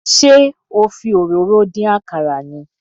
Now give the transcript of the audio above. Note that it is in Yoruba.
Ṣé o fi òróró dín àkàrà ni?